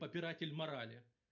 попиратель морали